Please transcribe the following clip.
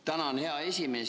Tänan, hea esimees!